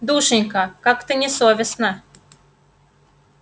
душенька как не совестно